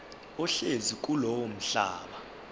ohlezi kulowo mhlaba